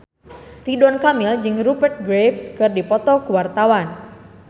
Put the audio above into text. Ridwan Kamil jeung Rupert Graves keur dipoto ku wartawan